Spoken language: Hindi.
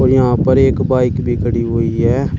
यहां पर एक बाइक भी खड़ी हुई है।